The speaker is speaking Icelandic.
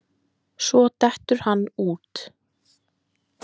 Svo dettur hann út.